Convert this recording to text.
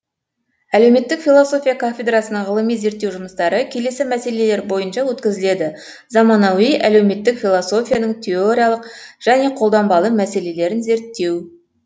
әлеуметтік философия кафедрасының ғылыми зерттеу жұмыстары келесі мәселелер бойынша өткізіледі заманауи әлеуметтік философияның теориялық және қолданбалы мәселелерін зерттеу